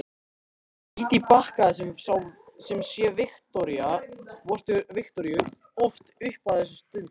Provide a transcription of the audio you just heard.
Dídí bakkaði sem sé Viktoríu oft upp ef þess þurfti.